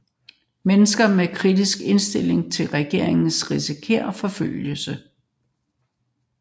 Mennesker med kritisk indstilling til regeringen risikerer forfølgelse